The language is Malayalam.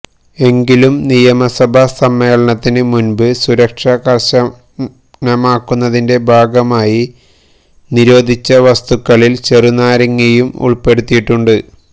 എങ്കിലും നിയമസഭ സമ്മേളനത്തിന് മുന്പ് സുരക്ഷ കര്ശനമാക്കുന്നതിന്റെ ഭാഗമായി നിരോധിച്ച വസ്തുക്കളില് ചെറുനാരങ്ങയും ഉള്പ്പെടുത്തിയിട്ടുണ്ട്